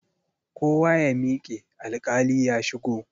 Kowa ya miƙe, alkali ya shigo!